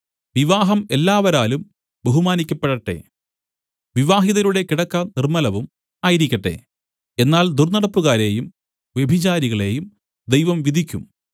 വിവാഹം എല്ലാവരാലും ബഹുമാനിയ്ക്കപ്പെടട്ടെ വിവാഹിതരുടെ കിടക്ക നിർമ്മലവും ആയിരിക്കട്ടെ എന്നാൽ ദുർന്നടപ്പുകാരെയും വ്യഭിചാരികളെയും ദൈവം വിധിക്കും